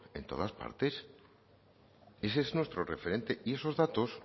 en todas partes ese es nuestro referente esos datos